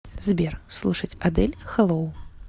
сбер слушать адель хэллоу